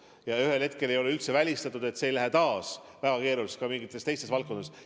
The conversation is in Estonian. Ja ühel hetkel ei ole üldse välistatud, et see ei lähe taas väga keeruliseks ka mingites teistes valdkondades.